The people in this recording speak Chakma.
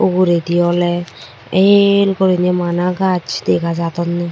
uguredi ole el goriney bana gaj dega jadonne.